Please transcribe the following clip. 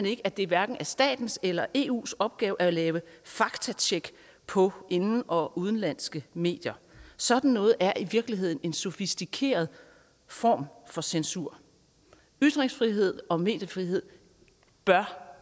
ikke at det er hverken statens eller eus opgave at lave faktatjek på inden og udenlandske medier sådan noget er i virkeligheden en sofistikeret form for censur ytringsfrihed og mediefrihed bør